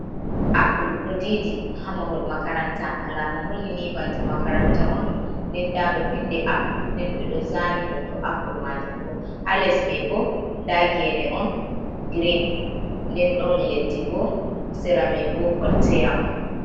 Apple ɗo didi ha mahol makaranta alama holini banta makaranta on, nden nda ɗo vindi apple nden ɓe ɗo zani hoto apple majun bo, ha les mai bo nda gene on grin, nden ɗon leddi bo sera mai bo kwalteya on.